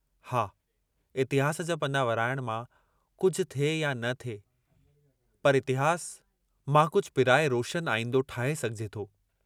हा इतिहास जा पना वराइण मां कुझ थिए या न थिए पर इतिहास मां कुझ पिराए रोशन आईंदो ठाहे सघिजे थो।